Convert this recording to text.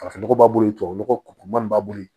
Farafin nɔgɔ b'a bolo yen tubabu nɔgɔ kuru man bolo yen